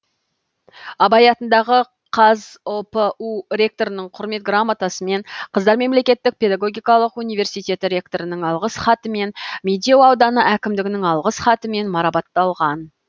абай атындағы қазұпу ректорының құрмет грамотасымен қыздар мемлекеттік педагогикалық университеті ректорының алғыс хатымен медеу ауданы әкімдігінің алғыс хатымен марапатталған